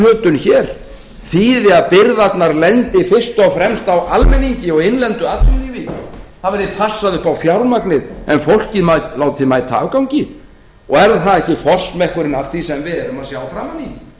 íhlutun hér þýði að byrðarnar lendi fyrst og fremst á almenningi og innlendu atvinnulífi það verði passað upp á fjármagnið en fólkið látið mæta afgangi er það ekki forsmekkurinn af því sem við erum að sjá framan í